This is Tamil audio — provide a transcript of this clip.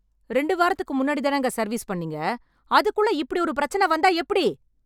ரெண்டு வாரத்துக்கு முன்னாடி தானுங்க சர்வீஸ் பண்ணீங்க. அதுக்குள்ள இப்படி ஒரு பெரச்ன வந்தா எப்டி?